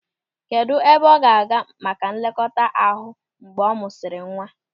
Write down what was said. Kedụ ebe ọ ga-aga maka nlekọta ahụ mgbe a mụsịrị nwa?